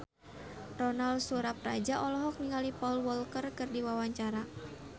Ronal Surapradja olohok ningali Paul Walker keur diwawancara